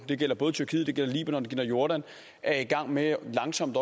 det gælder både tyrkiet det gælder libanon og det gælder jordan er i gang med langsomt